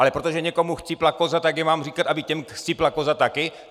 Ale protože někomu chcípla koza, tak já mám říkat, aby těm chcípla koza taky?